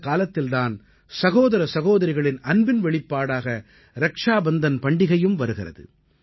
இந்தக் காலத்தில் தான் சகோதர சகோதரிகளின் அன்பின் வெளிப்பாடாக ரக்ஷா பந்தன் பண்டிகையும் வருகிறது